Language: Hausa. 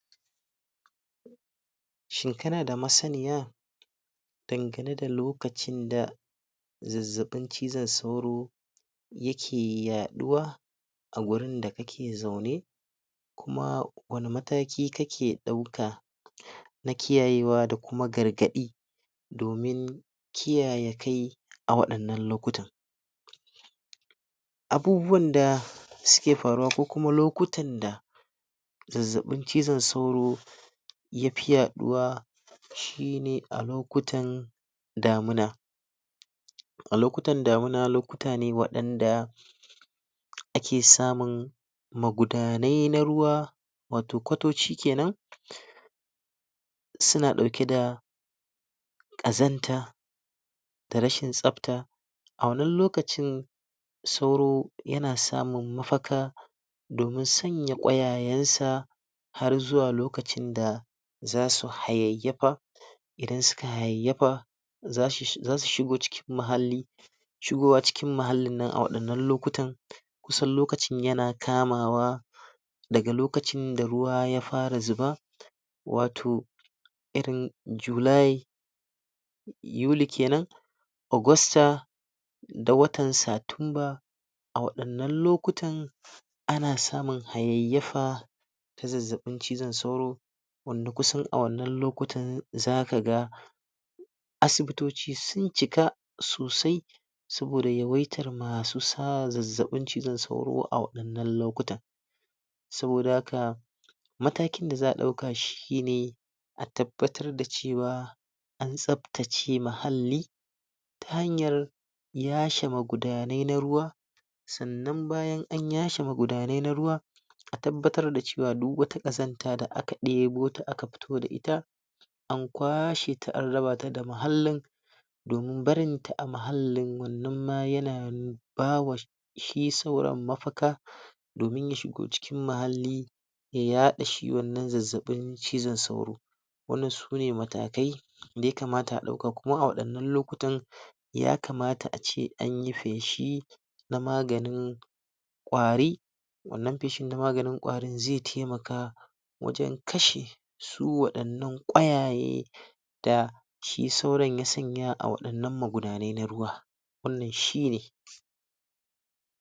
Shekara da masaniya dangane da lokacin da zazzabin cizon sauro yake yaduwa a wurin da kake zaune kuma wani mataki kake dauka na kiyayewa da kuma gargadi domin kiyaye kai a wadannan loktan abubuwan da suke faruwa ko kuma lokutan da zazzabin cizon sauro ya fi yaduwa shi ne a lokutan damina A lokutan damina, lokuta ne da wadanda ake samun magudanai na ruwa wato kwatoci kenan suna dauke da kazanta da rashin tsabta a wannan lokacin sauro yana samun mafaka domin sanya kwayayen sa har zuwa lokacin da zasu hayayafa idan suka hayayafa za su shigo cikin mahalli shigowa cikin mahallin nan a wadannan lokutan kusan lokacin yana kamawa daga lokacin da ruwa ya fara zuba wato, irin july yuli kenan, augusta da watan satumba a wadannan lokutan, ana samun hayayafa ta zazzabin cizon sauro wanda kusan a wadannan lokutan zaka ga asibitoci sun cika sosai saboda yawaitar masu sa zazzabin cizon sauro a waddanan lokutan saboda haka, matakin da za a dauka shi ne a tabbatar da cewa an tsabtace mahalli ta hanyar yashe magudanai na ruwa sannan idan an yashe magudanai na ruwa, a tabbatar da cewa duk wata kazanta da aka debo ta aka fito da ita, an Kwashe ta an raba ta da muhallin don barin ta a muhallin wannan ma yana ba wa shi sauron mafuka domin ya shigo cikin mahalli ya yadda shi wannan zazzabin cizon sauro wannan sune matakai daya kamata a dauka kuma a wadannan lokutan, ya kamata a ce anyi peshi na maganin kwari wannan peshi na maganin kwari ze taimaka wajen kashe su wadannan kwayaye da shi sauron ya sanya a wadannan magunaye na ruwa